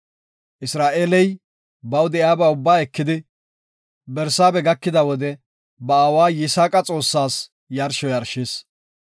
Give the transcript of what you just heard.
Isra7eeley baw de7iyaba ubbaa ekidi, Barsaabe gakida wode ba aawa Yisaaqa Xoossas yarsho yarshis.